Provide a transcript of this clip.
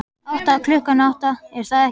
Átta, klukkan átta, er það ekki?